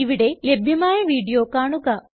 ഇവിടെ ലഭ്യമായ വീഡിയോ കാണുക